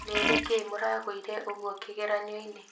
Nĩ nĩkĩĩ mũragũire ũguo kĩgeranio-inĩ